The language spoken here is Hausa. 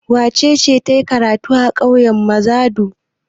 Wace ce ta yi makaranta a ƙauyen Mazadu?